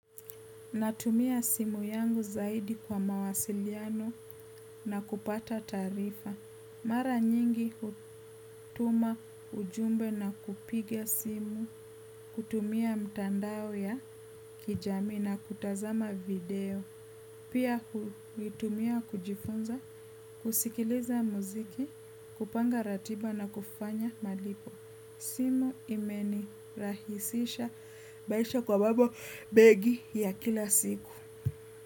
Natumia simu yangu zaidi kwa mawasiliano na kupata taarifa mara nyingi hutuma ujumbe na kupiga simu, kutumia mtandao ya kijami na kutazama video. Pia kutumia kujifunza, kusikiliza muziki, kupanga ratiba na kufanya malipo. Simu imeni rahisisha maisha kwa mambo mengi ya kila siku.